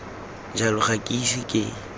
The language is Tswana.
jalo ga ke ise ke